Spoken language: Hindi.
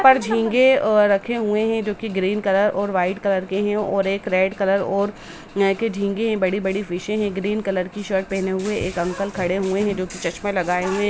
पर झींगे अ रखे हुए हैं जो की ग्रीन कलर और वाइट कलर के हैं और एक रेड कलर और नए के झींगे हैं बड़ी-बड़ी फिशें हैं ग्रीन कलर की शर्ट पहने हुए एक अंकल खड़े हुए हैं जो कि चश्में लगाए हुए हैं।